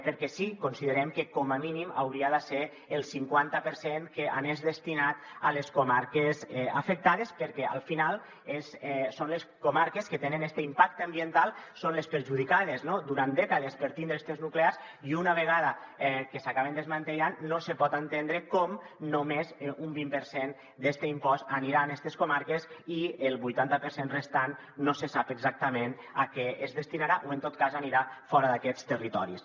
perquè sí considerem que com a mínim hauria de ser el cinquanta per cent el que anés destinat a les comarques afectades perquè al final les comarques que tenen este impacte ambiental en són les perjudicades no durant dècades per tindre estes nuclears i una vegada que s’acaben desmantellant no se pot entendre com només un vint per cent d’este impost anirà a estes comarques i el vuitanta per cent restant no se sap exactament a què es destinarà o en tot cas anirà fora d’aquests territoris